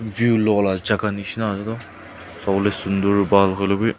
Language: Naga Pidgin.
View loala jaka neshna ase toi sabo le sunder habl hoi lebei.